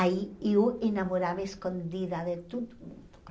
Aí eu enamorava escondida de todo mundo com ele.